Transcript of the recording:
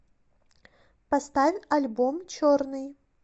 поставь альбом черный